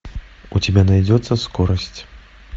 у тебя найдется скорость